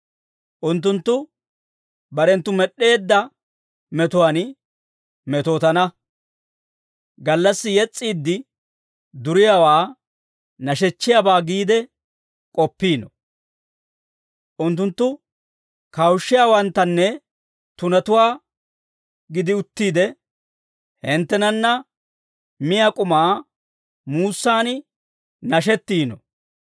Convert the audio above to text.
Unttunttu barenttu med'd'eedda metuwaan metootana; gallassi yes's'iidde duriyaawaa nashechchiyaabaa giide k'oppiino; unttunttu kawushissiyaawanttanne tunatuwaa gidi uttiide, hinttenanna miyaa k'umaa muussaan nashettiino.